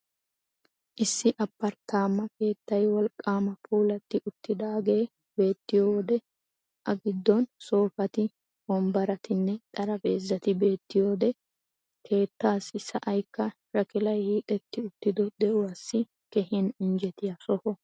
Issi Aparttama keettay wolqqaama puulatti uttidaagee beettiyo wode A giddon soofati, wombbaratinne xaraphpheezati beettiyo wode keettaassi sa'aykka shakilay hiixetti uttido de'uwassi keehin injjetiya soho.